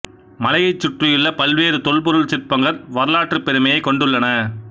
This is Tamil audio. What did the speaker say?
மலையைச் சுற்றியுள்ள பல்வேறு தொல்பொருள் சிற்பங்கள் வரலாற்றுப் பெருமையைக் கொண்டுள்ளன